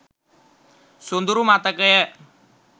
සොඳුරු මතකය